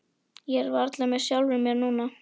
Ég er varla með sjálfum mér núna.